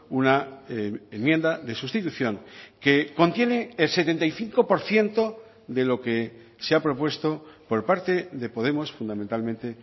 una enmienda de sustitución que contiene el setenta y cinco por ciento de lo que se ha propuesto por parte de podemos fundamentalmente